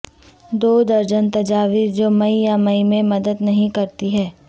دو درجن تجاویز جو مئی یا مئی میں مدد نہیں کرتی ہیں